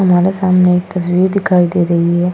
हमारे सामने एक तस्वीर दिखाई दे रही है।